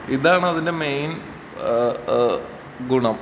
ഇതാണതിന്റെ main ഏഹ് ഏഹ് ഗുണം.